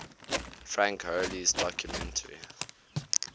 frank hurley's documentary